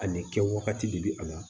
A ni kɛwagati de bɛ a la